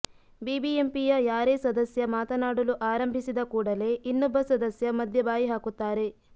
ಬಿಬಿಎಂಪಿಯ ಯಾರೇ ಸದಸ್ಯ ಮಾತನಾಡಲು ಆರಂಭಿಸಿದ ಕೂಡಲೇ ಇನ್ನೊಬ್ಬ ಸದಸ್ಯ ಮಧ್ಯೆ ಬಾಯಿಹಾಕುತ್ತಾರೆ